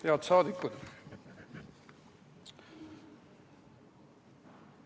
Head saadikud!